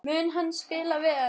Mun hann spila vel?